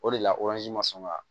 O de la ma sɔn ka